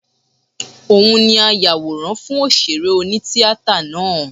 Òun ni ayàwòrán fún òṣèré oní-tíatà náà